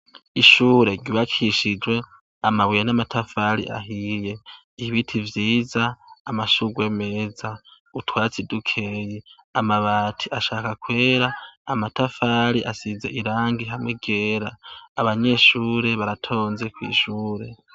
Ishure ry'ubakishije amabuye n'amatafari ahiye, ibiti vyiza, amashurwe meza, utwatsi dukeye, amabati ashaka kwera, amatafari asize irangi hamwe ryera. Abanyeshure baratonze kw'ishure.